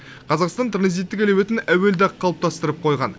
қазақстан транзиттік әлеуетін әуелде ақ қалыптастырып қойған